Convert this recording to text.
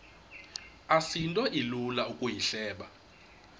asinto ilula ukuyihleba